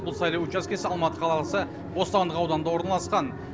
бұл сайлау учаскесі алматы қаласы бостандық ауданында орналасқан